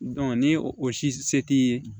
ni o si se t'i ye